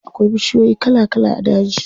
Akwai bishiyoyi kala kala a daji.